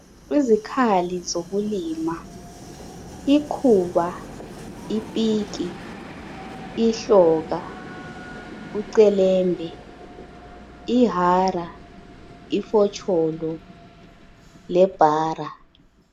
Izikhali zokulima. Ikhuba, ipiki, ihloka ucelembe, ihara ,ifotsholo lebhara.